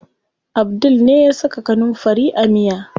Abdul ne ya saka kanunfari a miya.